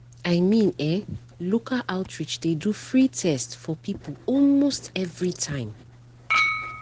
i mean eh local outreach dey do free test for people almost every time.